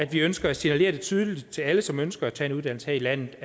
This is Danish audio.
vi ønsker at sende et tydeligt signal til alle som ønsker at tage en uddannelse her i landet